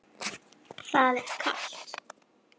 Það er kalt.